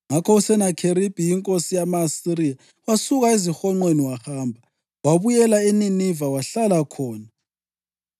Ngakho uSenakheribhi inkosi yama-Asiriya wasuka ezihonqweni wahamba. Wabuyela eNiniva wahlala khona.